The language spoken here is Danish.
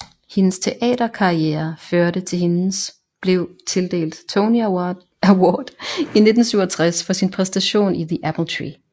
Hendes teater karriere førte til hendes blev tildelt Tony Award i 1967 for sin præstation i The Apple Tree